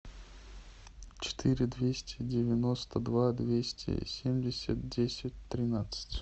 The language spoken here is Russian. четыре двести девяносто два двести семьдесят десять тринадцать